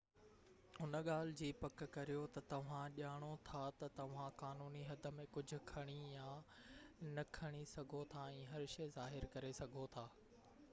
ان ڳالهہ جي پڪ ڪريو تہ توهان ڄاڻو ٿا تہ توهان قانوني حد ۾ ڪجهہ کڻي يا نہ کڻي سگهو ٿا ۽ هر شئي ظاهر ڪري سگهو ٿا